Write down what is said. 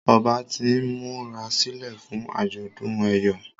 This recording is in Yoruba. Ọba t'in murasilẹ fún ajọdun eyọ